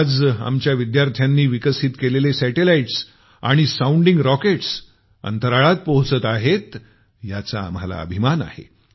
आज आमच्या विद्यार्थ्यांनी विकसित केलेले सॅटेलाईट्स आणि साऊंडिंग रॉकेट्स अंतराळात पोहोचत आहेत याचा आम्हाला अभिमान आहे